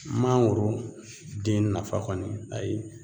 Mangoro den nafa kɔni ayi